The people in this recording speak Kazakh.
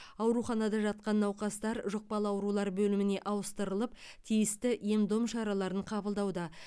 ауруханада жатқан науқастар жұқпалы аурулар бөліміне ауыстырылып тиісті ем дом шараларын қабылдауда